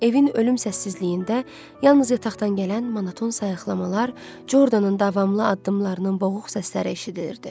Evin ölüm səssizliyində yalnız yataqdan gələn monoton sayıqlamalar, Jordanın davamlı addımlarının boğuq səsləri eşidilirdi.